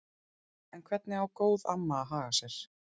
En hvernig á góð amma að haga sér?